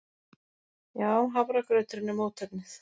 Já, hafragrauturinn er mótefnið.